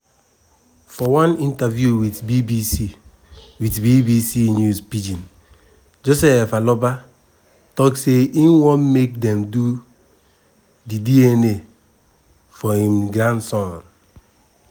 for one interview wit bbc wit bbc news pidgin joseph aloba tok say im want make dem do di dna for im grandson.